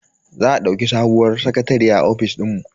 Za a dauki sabuwar sakatariya a ofishin mu.